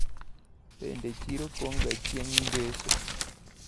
Bende chiro pong` ga chieng` ngeso?